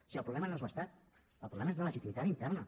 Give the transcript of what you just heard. si el problema no és l’estat el problema és de legitimitat interna